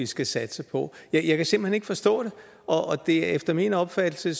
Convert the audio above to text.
skal satse på ja jeg kan simpelt hen ikke forstå det og efter min opfattelse